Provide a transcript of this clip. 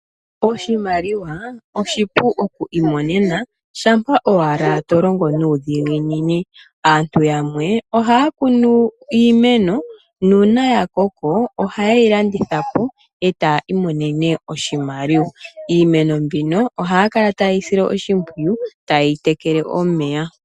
Oshimaliwa oshipu okwiimonena shampa owala to longo nuudhiginini. Aantu yamwe ohaya kunu iimeno, nuuna ya koko ohaye yi landitha po e taa imonene oshimaliwa. Iimeno mbino ohaya kala taye yi sile oshimpyiyu taye yi tekele omeya.